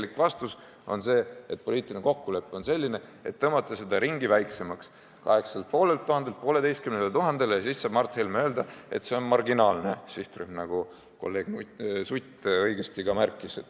Ainuke vastus on see, et poliitiline kokkulepe on tõmmata seda ringi väiksemaks, 8500 inimeselt 1500-le ja siis saab Mart Helme öelda, et see on marginaalne sihtrühm, nagu ka kolleeg Sutt õigesti märkis.